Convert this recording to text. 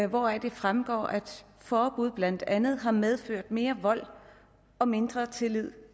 hvoraf det fremgår at et forbud blandt andet har medført mere vold og mindre tillid